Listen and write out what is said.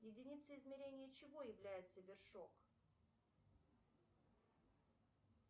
единицей измерения чего является вершок